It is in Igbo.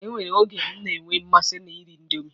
E nwere oge m na-enwe mmasị na iri indomi.